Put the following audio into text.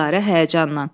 Dilarə həyəcanla.